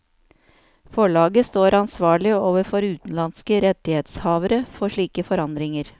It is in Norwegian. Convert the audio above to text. Forlaget står ansvarlig overfor utenlandske rettighetshavere for slike forandringer.